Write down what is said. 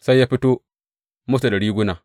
Sai ya fito musu da riguna.